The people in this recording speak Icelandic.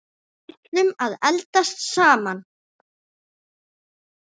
Við ætluðum að eldast saman.